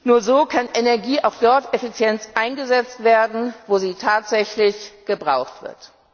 Nur so kann Energie auch dort effizient eingesetzt werden, wo sie tatsächlich gebraucht wird.